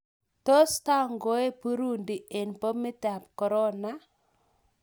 Tos tangoe burundi ag bomit amp korona iih?